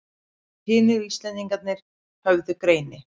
Hinir Íslendingarnir höfðu greini